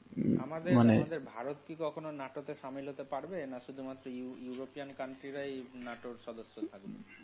আমাদের~মানে? আমাদের ভারত কি কখনও নাটোতে সামিল হতে পারবে নাকি শুধুমাত্র ইউরো, ইউরোপিয়ান country রাই নাটোর সদস্য থাকবে?